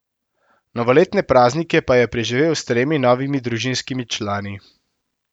Novoletne praznike pa je preživel s tremi novimi družinskimi člani.